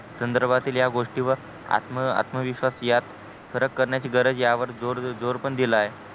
संधर्भा तील या गोष्टी वर आत्मविश्वास यात फरक करण्याची गरज यावर जोर पण दिला आहे